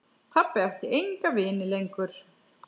Pabbi átti enga vini lengur.